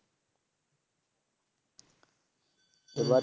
এবার